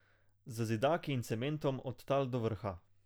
Z zidaki in cementom, od tal do vrha!